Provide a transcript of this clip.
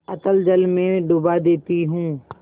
अतल जल में डुबा देती हूँ